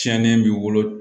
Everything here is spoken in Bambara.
Tiɲɛni b'i bolo